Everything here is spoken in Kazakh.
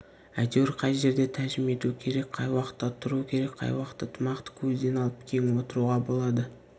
әйтеуір қай жерде тәжім ету керек қай уақытта тұру керек қай уақытта тымақты көзден алып кең отыруға болады